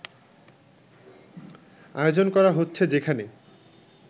আয়োজন করা হচ্ছে যেখানে